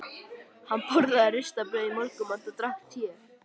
Hann borðaði ristað brauð í morgunmat og drakk te.